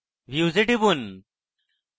views এ টিপুন